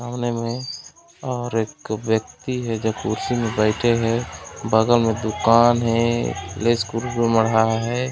सामने मे और एक व्वक्ति है जो कुर्सी मे बैठे है बगल में दूकान है ले है। .